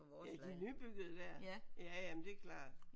Ja de nybyggede der? Ja jamen det er klart